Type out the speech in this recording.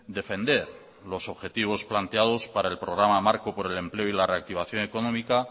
defender los objetivos planteados para el programa marco por el empleo y la reactivación económica